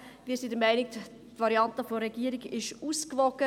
Wir sind der Meinung, die Variante der Regierung sei ausgewogen.